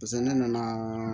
Paseke ne nana